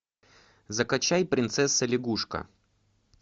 закачай принцесса лягушка